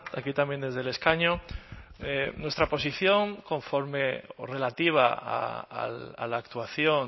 aquí también desde el escaño nuestra posición conforme o relativa a la actuación